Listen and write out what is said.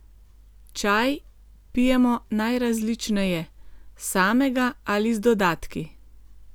Čaj pijemo najrazličneje samega ali z dodatki.